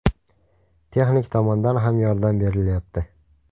Texnik tomondan ham yordam berilyapti.